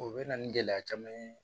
O bɛ na ni gɛlɛya caman ye